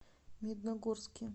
медногорске